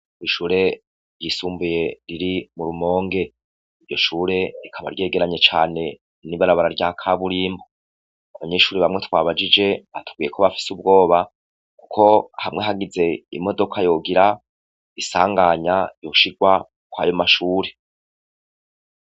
Ishure ryisumbuye riri mu Rumonge. Iryo shure rikaba ryegeranye n' ibarabara rya kaburimbo. Abanyeshure bamwe twabajije batubwiye ko bafise ubwoba kuko hamwe hagize imodoka yogira isanganya yoca irwa kwayo mashuri.